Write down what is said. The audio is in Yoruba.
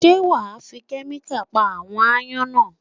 Ṣé wà á fi kẹ́míkà pa àwọn ááyán náà?